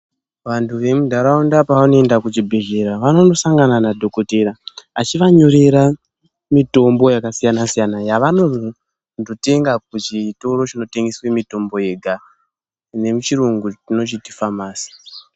Vantu vemuntharaunda pavanoenda kuchibhedhleya vanonosangana nadhokodheya achivanyorera mitombo yakasiyana siyana yavanonotenga kuchitoro chinotengeswe mitombo yega nemuchirungu tinochiti famasi.